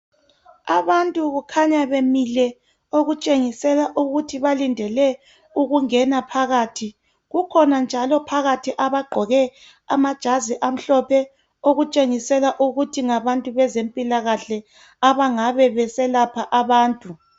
Abantu kukhanya bemile okutshengisela ukuthi balindele ukungena phakathi. Kukhona njalo phakathi abagqoke amajazi amhlophe. Okutshengisela ukuthi ngabantu beze mpilakahle. Abangabe beselapha abantu.